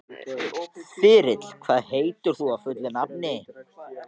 Þyrill, hvað heitir þú fullu nafni?